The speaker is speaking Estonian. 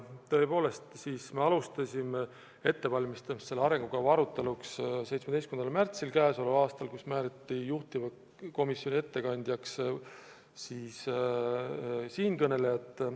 Tõepoolest, me alustasime selle arengukava aruteluks ettevalmistamist k.a 17. märtsil, kui komisjoni ettekandjaks määrati siinkõneleja.